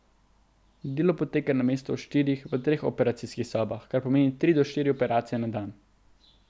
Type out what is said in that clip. Delo poteka namesto v štirih v treh operacijskih sobah, kar pomeni tri do štiri operacije na dan.